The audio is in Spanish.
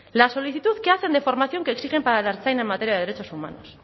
la solicitud que hacen de formación que exigen para la ertzaintza en materia de derechos humanos